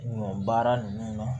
Ɲɔ baara nunnu na